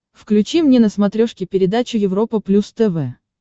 включи мне на смотрешке передачу европа плюс тв